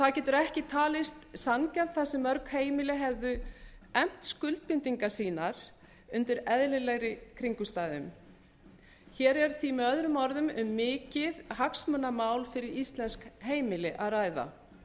það getur ekki talist sanngjarnt þar sem mörg heimili hefðu efnt skuldbindingar sínar undir eðlilegri kringumstæðum hér er því möo um mikið hagsmunamál fyrir íslensk heimili að ræða